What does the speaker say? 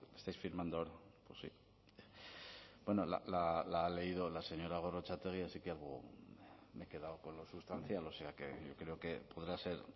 pues estáis firmando ahora bueno la ha leído la señora gorrotxategi así que algo me he quedado con lo sustancial o sea que yo creo que podrá ser